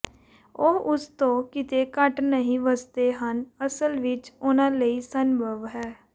ਉਹ ਉਸ ਤੋਂ ਕਿਤੇ ਘੱਟ ਲਈ ਵੱਸਦੇ ਹਨ ਅਸਲ ਵਿੱਚ ਉਨ੍ਹਾਂ ਲਈ ਸੰਭਵ ਹੈ